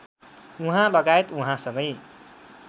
उहाँलगायत उहाँसँगै